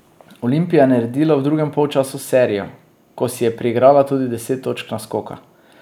Olimpija je naredila v drugem polčasu serijo, ko si je priigrala tudi deset točk naskoka.